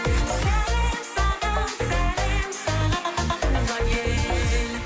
сәлем саған сәлем саған туған ел